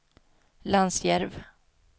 Lansjärv